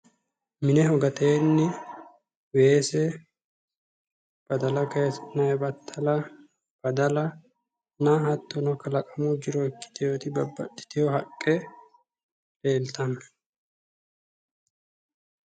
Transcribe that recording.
Mineho gateenni weese badala kayiisi'nayi battala badalanna hattono kalaqamu jiro ikkitewooti babbaxxiteewo haqqe leeltanno.